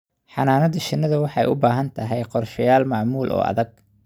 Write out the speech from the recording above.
Xannaanada shinnidu waxay u baahan tahay qorshayaal maamul oo adag.